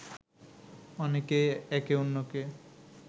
অনেকেই একে অন্যকে